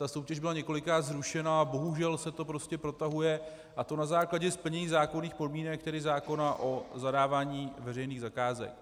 Ta soutěž byla několikrát zrušena a bohužel se to prostě protahuje, a to na základě splnění zákonných podmínek, tedy zákona o zadávání veřejných zakázek.